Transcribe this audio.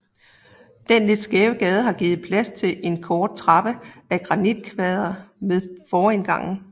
Den lidt skæve gade har givet plads til en kort trappe af granitkvader ved forindgangen